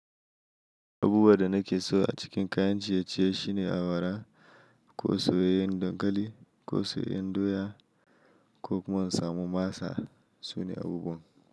Abubuwan da nake so a cikin kayan ciye-ciye shine awara, ko soyayyen dankali, ko soyayyen doya ko kuma in samu masa sune abubuwan.